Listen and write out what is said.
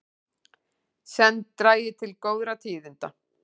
Senn dragi til góðra tíðinda